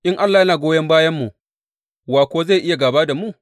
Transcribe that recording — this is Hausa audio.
In Allah yana goyon bayanmu, wa kuwa zai iya gāba da mu?